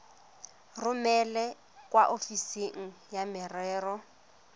romele kwa ofising ya merero